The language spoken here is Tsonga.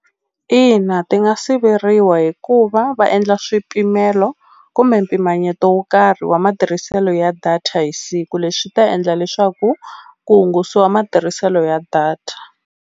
Ina ti nga siveriwa hikuva va endla swipimelo kumbe mpimanyeto wo karhi wa matirhiselo ya data hi siku leswi swi ta endla leswaku ku hungusiwa matirhiselo ya data.